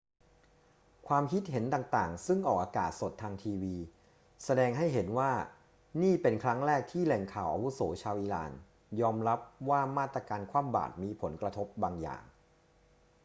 ความคิดเห็นต่าง ๆ ซึ่งออกอากาศสดทางทีวี แสดงให้เห็นว่านี่เป็นครั้งแรกที่แหล่งข่าวอาวุโสชาวอิหร่านยอมรับว่ามาตรการคว่ำบาตรมีผลกระทบบางอย่าง